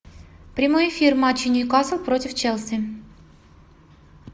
прямой эфир матча ньюкасл против челси